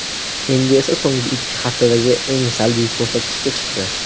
Endi esa so‘nggi ikki haftadagi eng salbiy ko‘rsatkichga chiqdi.